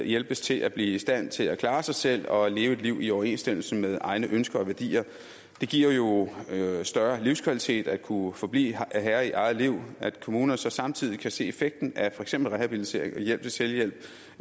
hjælpes til at blive i stand til at klare sig selv og leve et liv i overensstemmelse med egne ønsker og værdier det giver jo større livskvalitet at kunne forblive herre i eget liv og at kommunerne så samtidig kan se effekten af for eksempel rehabilitering og hjælp til selvhjælp